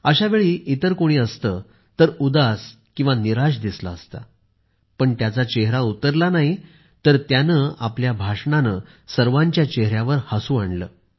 अशावेळी इतर कोणी असते तर उदास आणि निराश दिसले असते मात्र त्यांचा चेहरा उतरला नाही तर त्यांनी आपल्या भाषणाने सर्वांच्या चेहर्यावर हसू आणले